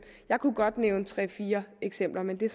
jeg kunne godt nævne tre fire eksempler men det er